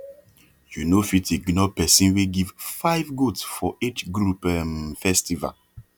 you no fit ignore person wey give five goat for age group um festival